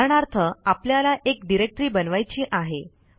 उदाहरणार्थ आपल्याला एक डिरेक्टरी बनवायची आहे